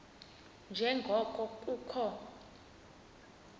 nje ngoko kukho